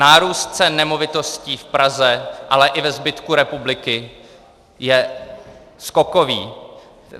Nárůst cen nemovitostí v Praze, ale i ve zbytku republiky je skokový.